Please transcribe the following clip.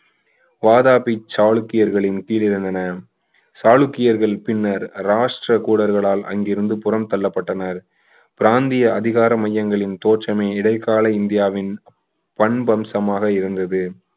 வாதாபி சாளுக்கியர்களின் கீழ் இருந்தன சாளுக்கியர்கள் பின்னர் ராஷ்டிர கூடர்களால் அங்கிருந்து புறம் தள்ளப்பட்டனர் பிராந்திய அதிகார மையங்களின் தோற்றமே இடைக்கால இந்தியாவின் பண்பம்சமாக இருந்தது